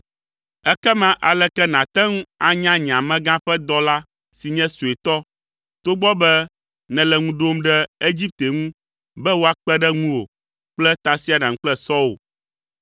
Ekema aleke nàte ŋu anya nye amegã ƒe dɔla si nye suetɔ, togbɔ be nèle ŋu ɖom ɖe Egipte ŋu be woakpe ɖe ŋuwò kple tasiaɖam kple sɔwo?